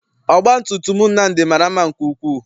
Ọgbatumutum Nnamdi mara mma nke ukwuu.